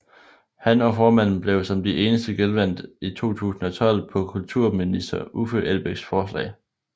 Han og formanden blev som de eneste genvalgt i 2012 på kulturminister Uffe Elbæks forslag